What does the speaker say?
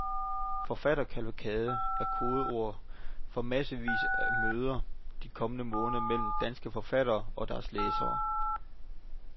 Forfatterkavalkade er kodeord for massevis af møder de kommende måneder mellem danske forfattere og deres læsere.